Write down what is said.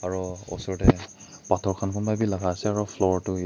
aro osr de pathor kan kunba b lagai ase aro floor tu ye.